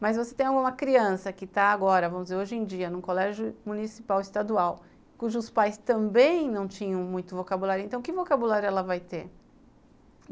Mas você tem alguma criança que está agora, vamos dizer, hoje em dia, num colégio municipal ou estadual, cujos pais também não tinham muito vocabulário, então que vocabulário ela vai ter?